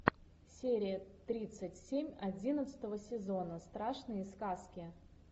серия тридцать семь одиннадцатого сезона страшные сказки